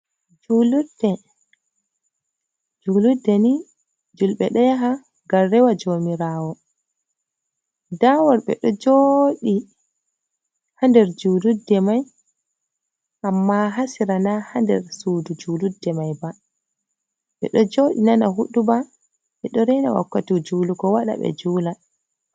Julurde ni julbe ɗo yaha ngam rewa jomirawo, nda wor ɓe ɗo jooɗi ha nder julurde mai amma ha sera na ha nder suudu julurde mai ba, ɓe ɗo joodi nana huduba ɓe ɗo rena wakkati julugo waɗa ɓe juula.